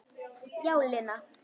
Já, Lena.